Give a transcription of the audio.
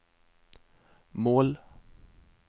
mål